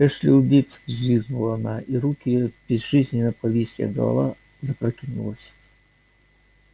эшли убит взвизгнула она и руки её безжизненно повисли а голова запрокинулась